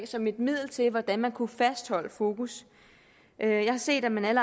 som et middel til hvordan man kunne fastholde fokus jeg har set at man